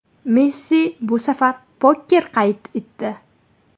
Messi bu safar poker qayd etdi.